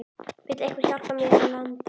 Vill einhver hjálpa mér að landa?